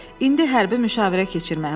İndi hərbi müşavirə keçirmək lazımdır,